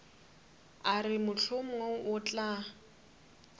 a re mohlomongwe o tla